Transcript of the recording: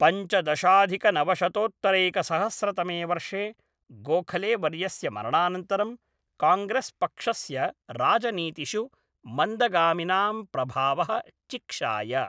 पञ्चदशाधिकनवशतोत्तरैकसहस्रतमे वर्षे गोखले वर्यस्य मरणानन्तरं, काङ्ग्रेस्पक्षस्य राजनीतिषु मन्दगामिनां प्रभावः चिक्षाय।